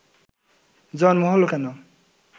জন্ম হলো কেন